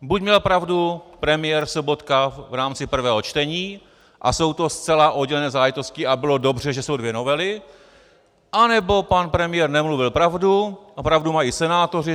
Buď měl pravdu premiér Sobotka v rámci prvého čtení a jsou to zcela oddělené záležitosti a bylo dobře, že jsou dvě novely, anebo pan premiér nemluvil pravdu a pravdu mají senátoři.